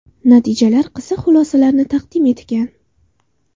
Natijalar qiziq xulosalarni taqdim etgan.